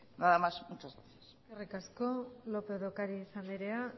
nada más muchas gracias eskerrik asko lópez de ocariz andrea